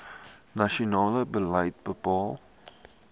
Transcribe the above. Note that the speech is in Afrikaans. nasionale beleid bepaal